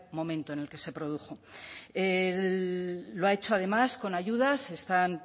momento en el que se produjo lo ha hecho además con ayudas están